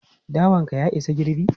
Dawan ka ya isa girbi?